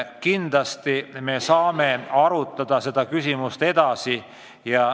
Kindlasti me saame seda teemat veelgi arutada.